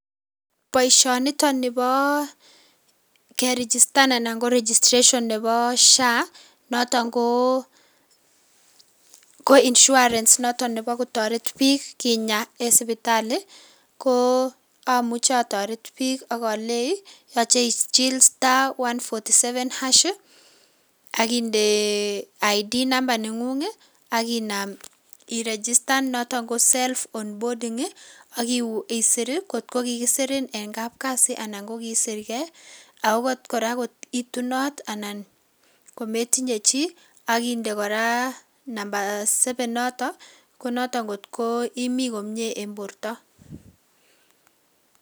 Boishoniton niboo kerigistan anan ko registration neboo SHA noton ko insurance noton neboo kotoret biik en sipitali ko amuche atoret biik ak oleii yoche ichiil star one forty seven ash akinde id number neng'ung'et akinaam irigistan noton ko self on bording akisir ngot kikisirin en kap kasii anan ko kiisir kee anan okot kora ngot ko itunot anan kometinye chii akinde kora number seven noton konoton ngot ko imii komiee en borto.